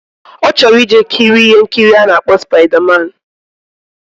Ochoro ije kiri ihe nkiri ana akpo spider man